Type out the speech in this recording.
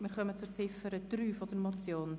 Wir kommen zur Ziffer 3 der Motion.